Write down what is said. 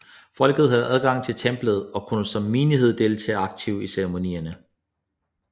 Folket havde adgang til templet og kunne som menighed deltage aktivt i ceremonierne